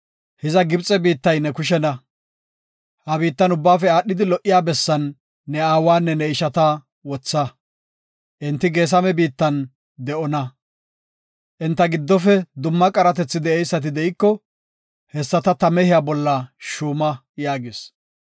Hiza Gibxe biittay ne kushena. Ha biittan ubbaafe aadhidi lo77iya bessan ne aawanne ne ishata wotha; enti Geesame biittan de7ona. Enta giddofe dumma qaratethi de7eysati de7iko, hessata ta mehiya bolla shuuma” yaagis.